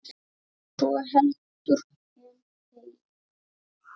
svo heldur en þegja